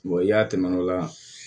i y'a tɛmɛ o la